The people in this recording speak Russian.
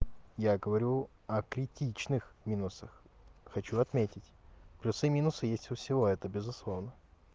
я говорю а критичных минусах хочу отметить плюсы и минусы есть у всего это безусловно